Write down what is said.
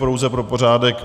Pouze pro pořádek.